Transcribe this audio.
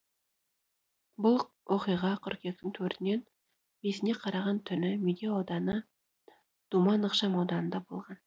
бұл оқиға қыркүйектің төртінен бесіне қараған түні медеу ауданы думан ықшам ауданында болған